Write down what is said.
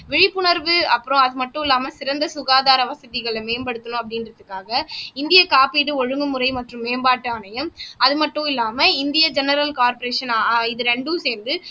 விழிப்புணர்வு அப்புறம் அது மட்டும் இல்லாம சிறந்த சுகாதார வசதிகளை மேம்படுத்தணும் அப்படின்றதுக்காக இந்திய காப்பீடு ஒழுங்குமுறை மற்றும் மேம்பாட்டு ஆணையம் அது மட்டும் இல்லாம இந்திய ஜெனரல் கார்பரேஷன் ஆஹ் இது ரெண்டும் சேர்ந்து